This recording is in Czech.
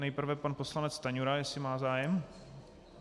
Nejprve pan poslanec Stanjura, jestli má zájem?